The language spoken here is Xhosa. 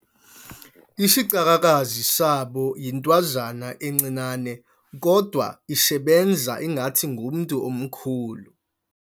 Isicakakazi sabo yintwazana encinane kodwa isebenza ngathi ngumntu omkhulu.